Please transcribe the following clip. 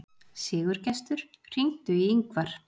Sigurgestur, hringdu í Yngvar.